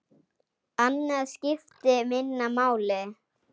Annað skipti minna máli.